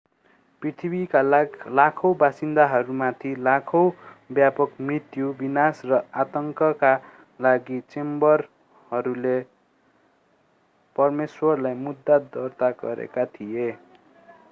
पृथ्वीका लाखौँ बासिन्दाहरूमाथि लाखौँको व्यापक मृत्यु विनाश र आतङ्कका लागि चेम्बरहरूले परमेश्वरलाई मुद्दा दर्ता गरेका थिए